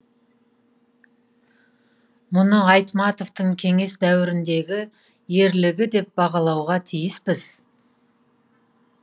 мұны айтматовтың кеңес дәуіріндегі ерлігі деп бағалауға тиіспіз